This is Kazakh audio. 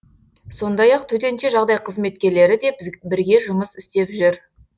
сондай ақ төтенше жағдай қызметкерлері де бірге жұмыс істеп жүр